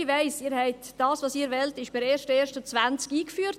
Ich weiss: Was Sie wollen, ist per 1. Januar 2020 eingeführt.